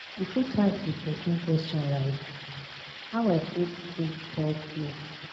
you fit ask di person question like "how i fit take help you? "